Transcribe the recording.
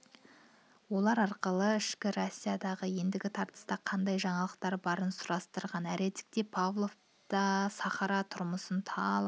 олар арқылы ішкі россиядағы ендігі тартыста қандай жаңалықтар барын сұрастырған әредікте павлов та сахара түрмысынан талай